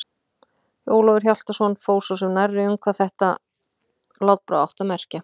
Ólafur Hjaltason fór svo sem nærri um hvað þetta látbragð átti að merkja.